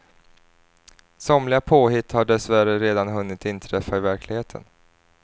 Somliga påhitt har dess värre redan hunnit inträffa i verkligheten.